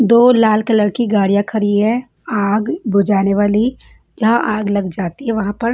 दो लाल कलर की गाड़ियां खड़ी है आग बुझाने वाली जहाँ आग लग जाती है वहाँ पर--